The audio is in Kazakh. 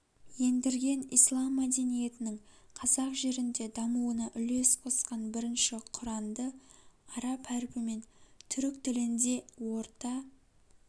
ендірген ислам мәдениетінің қазақ жерінде дамуына үлес қосқан бірінші құранды араб әрпімен түрік тілінде орта